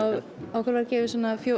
okkur voru gefin